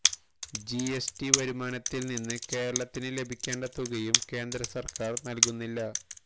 GST വരുമാനത്തില് നിന്ന് കേരളത്തിന് ലഭിക്കേണ്ട തുകയും കേന്ദ്ര സര്ക്കാര് നല്കുന്നില്ല